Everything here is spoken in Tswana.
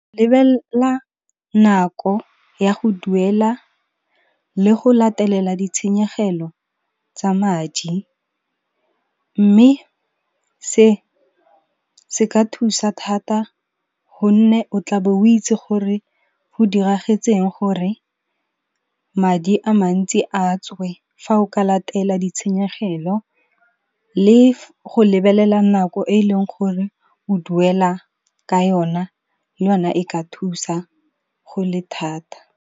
Lebella nako ya go duela le go latelela ditshenyegelo tsa madi, mme se se ka thusa thata gonne o tla be o itsi gore go diragetseng gore madi a mantsi a tswe fa o ka latela ditshenyegelo, le go lebelela nako e leng gore o duela ka yona le yona e ka thusa go le thata.